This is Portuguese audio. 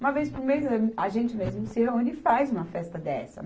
Uma vez por mês, a gente mesmo se reúne e faz uma festa dessa.